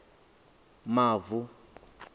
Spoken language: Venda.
mavu